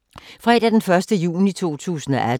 Fredag d. 1. juni 2018